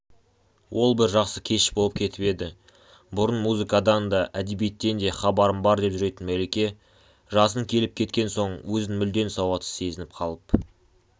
ол бір жақсы кеш болып кетіп еді бұрын музыкадан да әдебиеттен де хабарым бар деп жүретін мәлике жасын келіп кеткен соң өзін мүлдем сауатсыз сезініп қалып